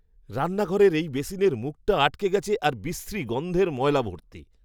রান্নাঘরের এই বেসিনের মুখটা আটকে গেছে আর বিশ্রী গন্ধের ময়লা ভর্তি।